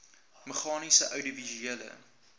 meganies oudiovisuele